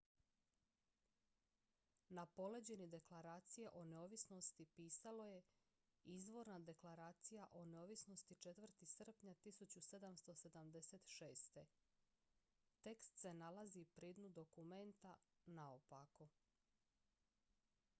"na poleđini deklaracije o neovisnosti pisalo je "izvorna deklaraija o neovisnosti 4. srpnja 1776."". tekst se nalazi pri dnu dokumenta naopako.